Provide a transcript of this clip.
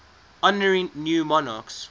honouring new monarchs